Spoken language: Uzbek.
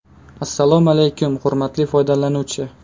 Assalomu alaykum, hurmatli foydalanuvchi!